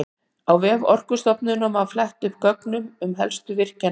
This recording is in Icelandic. Á vef Orkustofnunar má fletta upp gögnum um helstu virkjanir landsins.